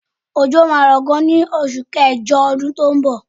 Òjò máa ń rọ gan ní oṣù kẹjọ ọdún tó ń bọ̀.